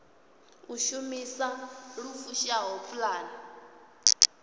u shumisa lu fushaho pulane